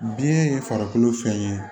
Biyɛn ye farikolo fɛn ye